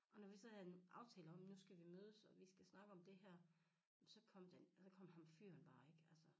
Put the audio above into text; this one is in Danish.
Og når vi så havde en aftale om nu skal vi mødes og vi skal snakke om det her så kom ham fyren bare ikke altså